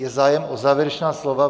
Je zájem o závěrečná slova?